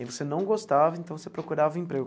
E você não gostava, então você procurava emprego.